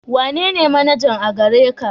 Wanene manaja a gare ka?